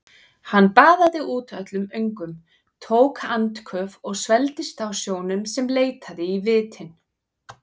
Hann baðaði út öllum öngum, tók andköf og svelgdist á sjónum sem leitaði í vitin.